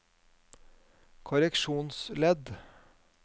korreksjonsledd